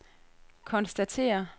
konstatere